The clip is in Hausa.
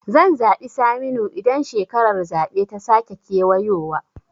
Zan zaɓi Saminu idan shekarar zaɓe ta sake kewayowa